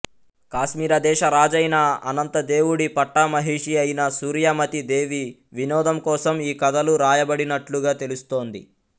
కాశ్మీర దేశ రాజైన అనంతదేవుడి పట్టమహిషి అయిన సూర్యమతీ దేవి వినోదం కోసం ఈ కథలు రాయబడినట్లుగా తెలుస్తోంది